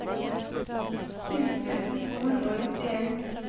tjue tusen to hundre og nittien